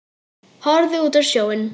Horfði út á sjóinn.